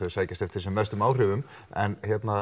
sækjast eftir sem mestum áhrifum en